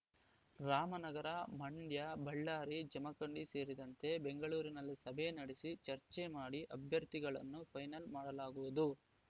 ರಾಮನಗರ ಮಂಡ್ಯ ಬಳ್ಳಾರಿ ಜಮಖಂಡಿ ಸೇರಿದಂತೆ ಬೆಂಗಳೂರಿನಲ್ಲಿ ಸಭೆ ನಡೆಸಿ ಚರ್ಚೆ ಮಾಡಿ ಅಭ್ಯರ್ಥಿಗಳನ್ನು ಫೈನಲ್‌ ಮಾಡಲಾಗುವುದು